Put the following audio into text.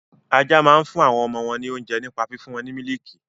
Ajá máa ń fún àwọn ọmọ wọn ní oúnjẹ nípa fífún wọn ní mílìkì.